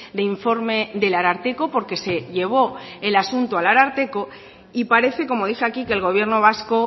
de informe del ararteko porque se llevó el asunto al ararteko y parece como dice aquí que el gobierno vasco